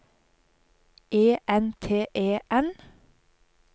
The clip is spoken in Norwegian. E N T E N